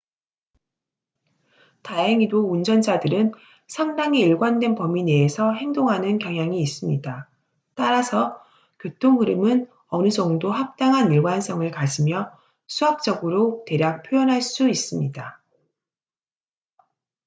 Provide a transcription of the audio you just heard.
다행히도 운전자들은 상당히 일관된 범위 내에서 행동하는 경향이 있습니다 따라서 교통 흐름은 어느 정도 합당한 일관성을 가지며 수학적으로 대략 표현할 수 있습니다